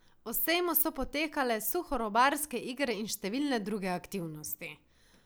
O sejmu so potekale suhorobarske igre in številne druge aktivnosti.